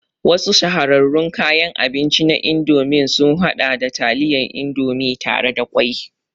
Wasu shahararrun kayan abinci na Indomie sun haɗa da taliyar Indomie tare da ƙwai